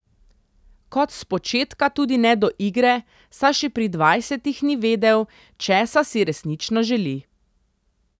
Kot spočetka tudi ne do igre, saj še pri dvajsetih ni vedel, česa si resnično želi.